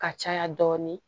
Ka caya dɔɔnin